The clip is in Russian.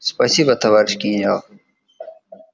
спасибо товарищ генерал